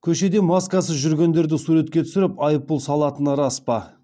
көшеде маскасыз жүргендерді суретке түсіріп айыппұл салатыны рас па